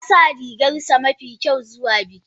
Ya sa rigarsa mafi kyau zuwa bikin.